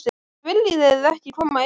En viljið þið ekki koma inn?